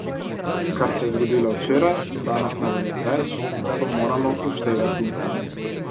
Kar se je zgodilo včeraj, danes ne velja več, to moramo upoštevati.